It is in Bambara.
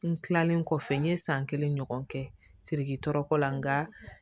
N kilalen kɔfɛ n ye san kelen ɲɔgɔn kɛ siriki tɔɔrɔ la nka